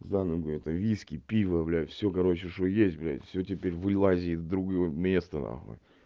за ногу это виски пиво блять всё короче что есть блять всё теперь вылазит в другое место нахуй